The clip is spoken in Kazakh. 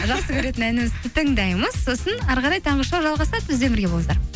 жақсы көретін әнімізді тыңдаймыз сосын әрі қарай таңғы шоу жалғасады бізбен бірге болыңыздар